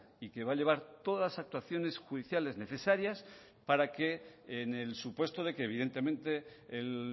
y que va a llevar todas las actuaciones judiciales necesarias para que en el supuesto de que evidentemente el